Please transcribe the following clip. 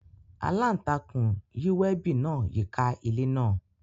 Alantakun yi webi naa yika ile naa.